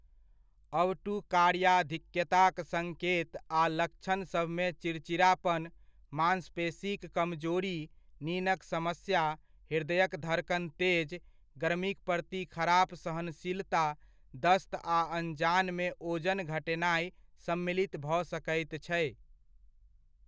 अवटुकार्याधिक्यताक सङ्केत आ लक्षणसभमे चिड़चिड़ापन, माँसपेशीक कमजोरी, निनक समस्या, हृदयक धड़कन तेज, गर्मीक प्रति खराप सहनशीलता, दस्त आ अनजानमे ओजन घटेनाइ सम्मिलित भऽ सकैत छै।